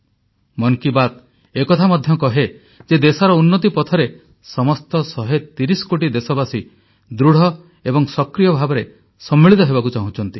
ମନ୍ କି ବାତ୍ ଏ କଥା ମଧ୍ୟ କହେ ଯେ ଦେଶର ଉନ୍ନତି ପଥରେ ସମସ୍ତ ୧୩୦ କୋଟି ଦେଶବାସୀ ଦୃଢ଼ ଏବଂ ସକ୍ରିୟ ଭାବେ ସମ୍ମିଳିତ ହେବାକୁ ଚାହୁଁଛନ୍ତି